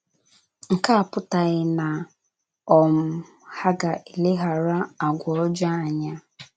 Nke a apụtaghị na um ha ga - eleghara àgwà ọjọọ anya.